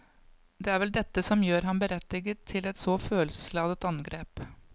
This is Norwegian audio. Det er vel dette som gjør ham berettiget til et så følelsesladet angrep.